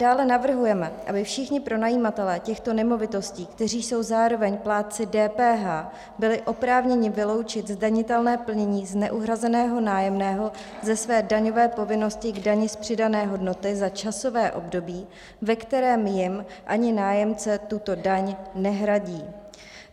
Dále navrhujeme, aby všichni pronajímatelé těchto nemovitostí, kteří jsou zároveň plátci DPH, byli oprávněni vyloučit zdanitelné plnění z neuhrazeného nájemného ze své daňové povinnosti k dani z přidané hodnoty za časové období, ve kterém jim ani nájemce tuto daň nehradí.